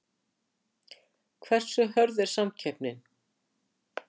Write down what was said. Hversu hörð er samkeppnin?